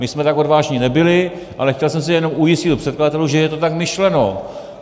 My jsme tak odvážní nebyli, ale chtěl jsem se jenom ujistit u předkladatelů, že je to tak myšleno.